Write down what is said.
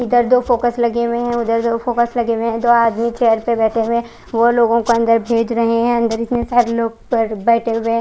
इदर दो फोकस लगे हुए है उदर दो फॉकस लगे हुए है दो आदमी चेयर पर बेठे हुए है वो लोगो को अंदर भेज रहे है अंदर इतने सारे लोग बेठे हुए है।